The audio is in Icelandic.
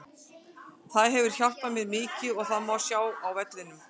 Það hefur hjálpað mér mikið og það má sjá á vellinum.